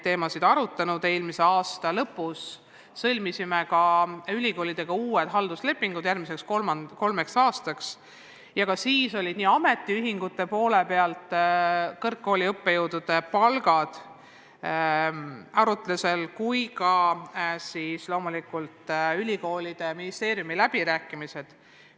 Eelmise aasta lõpus sõlmisime ülikoolidega uued halduslepingud järgmiseks kolmeks aastaks ja siis olid arutusel ka õppejõudude palgad nii kõnelustel ametiühingutega kui ka loomulikult ülikoolide ja ministeeriumi läbirääkimistel.